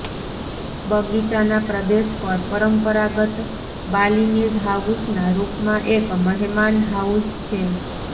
બગીચાના પ્રદેશ પર પરંપરાગત બાલીનીઝ હાઉસના રૂપમાં એક મહેમાનહાઉસ છે